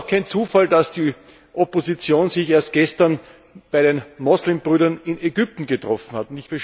Es ist auch kein Zufall, dass die Opposition sich erst gestern bei den Muslimbrüdern in Ägypten getroffen hat.